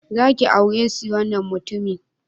Za ki aure si wannan mutumin?